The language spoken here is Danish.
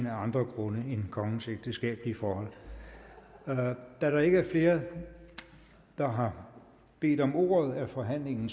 af andre grunde end kongens ægteskabelige forhold da der ikke er flere der har bedt om ordet er forhandlingen